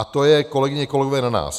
A to je, kolegyně, kolegové, na nás.